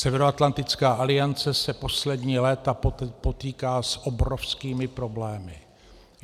Severoatlantická aliance se poslední léta potýká s obrovskými problémy.